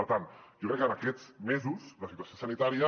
per tant jo crec que en aquests mesos la situació sanitària